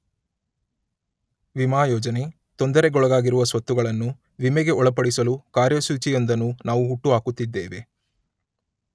ವಿಮಾ ಯೋಜನೆ, ತೊಂದರೆಗೊಳಗಾಗಿರುವ ಸ್ವತ್ತುಗಳನ್ನು ವಿಮೆಗೆ ಒಳಪಡಿಸಲು ಕಾರ್ಯಸೂಚಿಯೊಂದನ್ನು ನಾವು ಹುಟ್ಟುಹಾಕುತ್ತಿದ್ದೇವೆ.